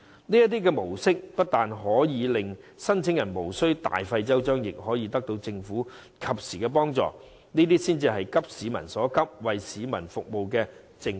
這種模式不單可令申領人無須大費周章，亦可獲得政府及時的幫助，這才是急市民所急、為市民服務的政府。